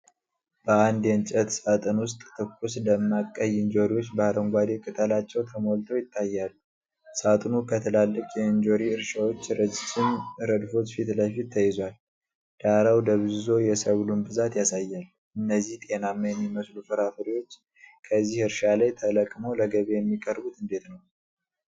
በአንድ የእንጨት ሳጥን ውስጥ ትኩስ፣ ደማቅ ቀይ እንጆሪዎች በአረንጓዴ ቅጠላቸው ተሞልተው ይታያሉ። ሳጥኑ ከትላልቅ የእንጆሪ እርሻዎች ረጅም ረድፎች ፊት ለፊት ተይዟል፤ ዳራው ደብዝዞ የሰብሉን ብዛት ያሳያል። እነዚህ ጤናማ የሚመስሉ ፍራፍሬዎች ከዚህ እርሻ ላይ ተለቅመው ለገበያ የሚቀርቡት እንዴት ነው?